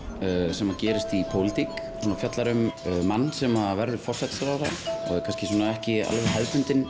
sem gerist í pólitík og fjallar um mann sem verður forsætisráðherra ekki hefðbundinn